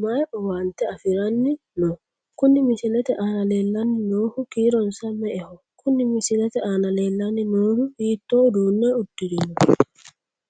mayi owaante afiranni no? Kuni misilete aana leellanni noohu kiironsa me'eho? Kuni misilete aana leellanni noohu hiittoo uduunne uddirino?